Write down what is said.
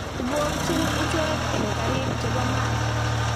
Ibookyin ichek eng karik che bo mat.